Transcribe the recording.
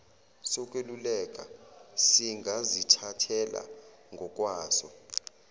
sokweluleka singazithathela ngokwaso